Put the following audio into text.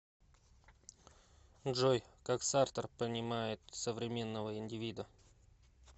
джой как сартр понимает современного индивида